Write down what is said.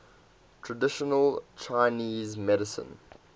traditional chinese medicine